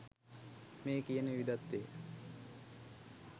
මේ කියන විවිධත්වය